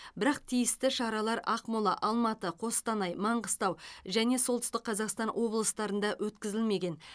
бірақ тиісті шаралар ақмола алматы қостанай маңғыстау және солтүстік қазақстан облыстарында өткізілмеген